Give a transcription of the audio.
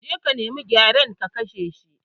Je ka nima gyaren, ka kashe shi!